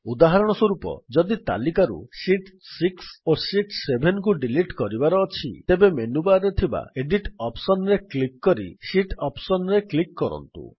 ଉଦାହରଣସ୍ୱରୂପ ଯଦି ତାଲିକାରୁ ଶୀତ୍ 6 ଓ ଶୀତ୍ 7 କୁ ଡିଲିଟ୍ କରିବାକୁ ଅଛି ତେବେ ମେନୁ ବାର୍ ରେ ଥିବା ଏଡିଟ୍ ଅପ୍ସନ୍ ରେ କ୍ଲିକ୍ କରି ଶୀତ୍ ଅପ୍ସନ୍ ରେ କ୍ଲିକ୍ କରନ୍ତୁ